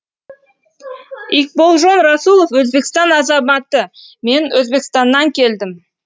икболжон расулов өзбекстан азаматы мен өзбекстаннан келдім